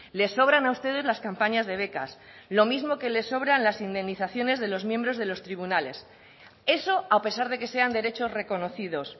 les sobran a ustedes las campañas de becas lo mismo que les sobran las indemnizaciones de los miembros de los tribunales eso a pesar de que sean derechos reconocidos